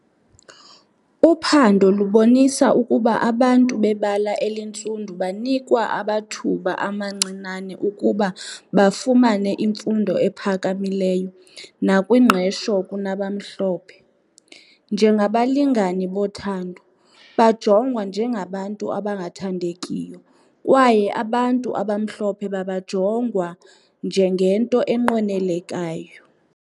Uphando lubonisa ukuba abantu bebala elintsundu banikwa abathuba amancinane ukuba bafumane imfundo ephakamileyo nakwingqesho kunabamhlophe . Njengabalingani bothando, bajongwa njengabantu abangathandekiyo kwaye abantu abamhlophe babajongwa njengento enqwenelekayo.